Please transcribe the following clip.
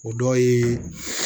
O dɔ ye